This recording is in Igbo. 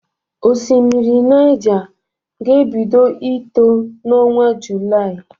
Osimiri Naịja ga-ebido ito n'ọnwa Julaị.